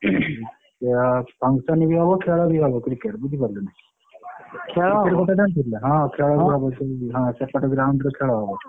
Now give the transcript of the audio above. ଇଏ function ବି ହବ ଖେଳ ବି ହବ Cricket ବୁଝିପାରିଲୁନା ଖେଳହବ certificate ଆଣିଛୁ ନା ହଁ ଖେଳ ହବ ଶୁଣିଛି ସେପଟ ground ରେ ଖେଳ ହବ।